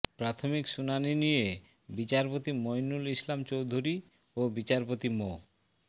প্রাথমিক শুনানি নিয়ে বিচারপতি মইনুল ইসলাম চৌধুরী ও বিচারপতি মো